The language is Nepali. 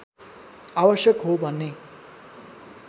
आवश्यक हो भन्ने